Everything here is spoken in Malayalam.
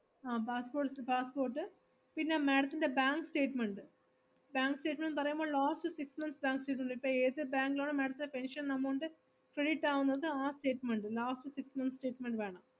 ആഹ് passport പിന്നെ madam ത്തിൻ്റെ bank statement, bank statement ന്ന് പറയുമ്പോ last six months bank statement ഇപ്പൊ ഏത്‌ bank ഇലാണോ madam ത്തിൻ്റെ pension amount credit ആവുന്നത് ആ statement, last six months statement വേണം